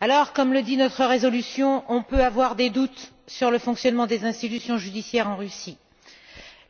Alors, comme le dit notre résolution, on peut avoir des doutes sur le fonctionnement des institutions judiciaires en Russie